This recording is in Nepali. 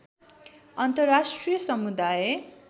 अन्तर्राष्ट्रिय समुदाय